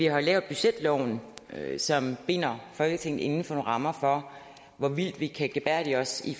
har lavet budgetloven som binder folketinget inden for nogle rammer for hvor vildt vi kan gebærde os i